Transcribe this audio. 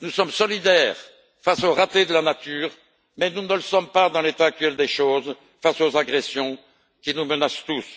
Nous sommes solidaires face aux ratés de la nature, mais nous ne le sommes pas, dans l'état actuel des choses, face aux agressions qui nous menacent tous.